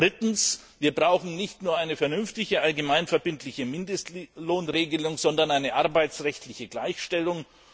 Drittens brauchen wir nicht nur eine vernünftige, allgemein verbindliche Mindestlohnregelung, sondern eine arbeitsrechtliche Gleichstellung.